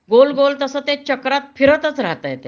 गोल गोल तस ते चक्रात फिरताच राहतंय ते